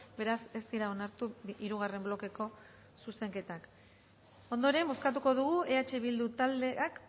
beraz ez dira onartu hirugarren blokeko zuzenketak ondoren bozkatuko dugu eh bildu taldeak